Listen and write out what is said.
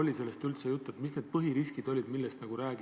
Oli tollel koosolekul üldse juttu, mis need põhiriskid on?